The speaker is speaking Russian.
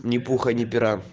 ни пуха ни пера